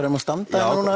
eigum að standa já